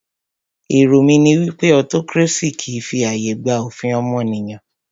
Èrò mí ní wípé autocracy kìí fi ààyè gba òfin ọmọnìyàn.